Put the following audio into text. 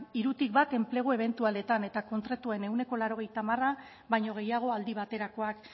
hirutik bat enplegu ebentualetan eta kontratuen ehuneko laurogeita hamar baino gehiago aldi baterakoak